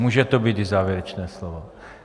Může to být i závěrečné slovo.